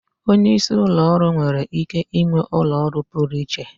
Onye isi ụlọ ọrụ nwere ike ịnwe ụlọ ọrụ pụrụ iche.